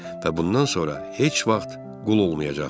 Və bundan sonra heç vaxt qul olmayacaqsan.